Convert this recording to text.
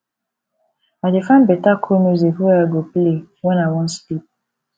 i dey find beta cool music wey i go play wen i wan sleep